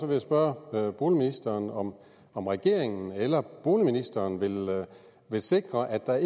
jeg spørge boligministeren om om regeringen eller boligministeren vil sikre at der